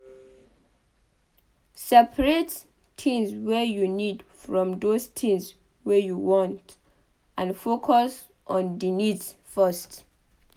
Separate things wey you need from those things wey you want and focus on di needs first